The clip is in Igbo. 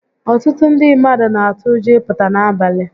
Ọtụtụ ndị mmadụ n'atụ ụjọ ị pụta n'abalị